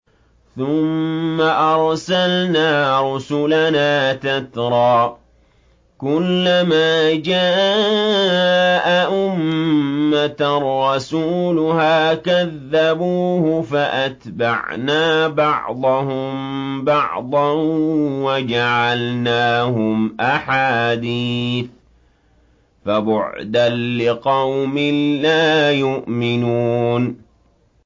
ثُمَّ أَرْسَلْنَا رُسُلَنَا تَتْرَىٰ ۖ كُلَّ مَا جَاءَ أُمَّةً رَّسُولُهَا كَذَّبُوهُ ۚ فَأَتْبَعْنَا بَعْضَهُم بَعْضًا وَجَعَلْنَاهُمْ أَحَادِيثَ ۚ فَبُعْدًا لِّقَوْمٍ لَّا يُؤْمِنُونَ